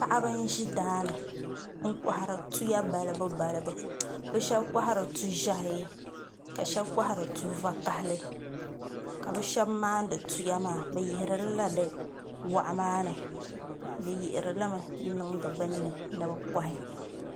Paɣaba n ʒi daani n kohari tuya balibu balibu bi shab kohari tu ʒiɛhi ka shab kohari tu vakaɣali ka bi shab maandi tuya maa bi yihirilila di waɣu maa ni bi yihiri limi n niŋdi binni ni bi kohi